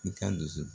I ka dusu